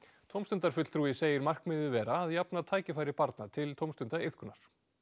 tómstundafulltrúi segir markmiðið vera að jafna tækifæri barna til tómstundaiðkunar